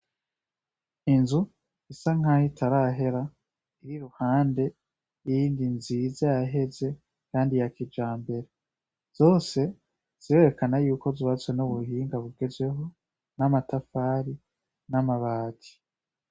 Inzu isa nkaho itarahera iri iruhande yiyindi nziza yaheze kandi ya kijambere. Zose zirerekana yuko zubatswe nubuhinga bugezweho, namatafara, namabati.